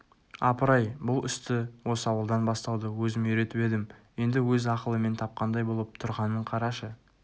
апырай-ай бұл істі осы ауылдан бастауды өзім үйретіп едім енді өз ақылымен тапқандай болып тұрғанын қарашы